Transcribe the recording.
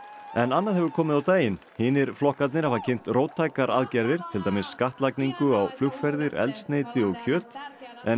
en annað hefur komið á daginn hinir flokkarnir hafa kynnt róttækar aðgerðir til dæmis skattlagningu á flugferðir eldsneyti og kjöt en